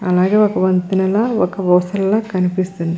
అలాగే ఒక వంతెనల ఒక ఊసళ్ళ కనిపిస్తున్నవి .